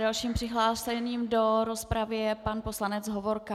Dalším přihlášeným do rozpravy je pan poslanec Hovorka.